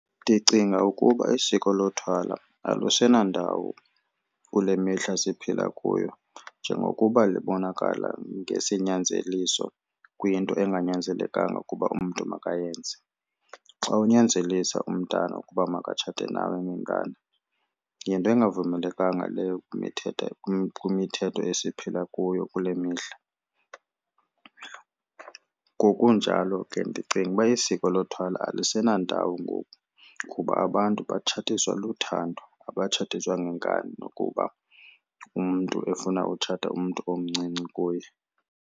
Ndicinga ukuba isiko lothwala alusenandawo kule mihla siphila kuyo njengokuba libonakala ngesinyanzeliso kwinto enganyanzelekanga ukuba umntu makayenze. Xa unyanzelisa umntana ukuba makatshate nawe ngenkani yinto engavumelekanga leyo kwimithetho esiphila kuyo kule mihla. Ngokunjalo ke ndicinga uba isiko lothwala alisenandawo ngoku kuba abantu batshatiswa luthando, abatshatiswa ngenkani ukuba umntu efuna utshata umntu omncinci kuye.